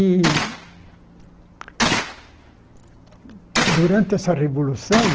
E... Durante essa Revolução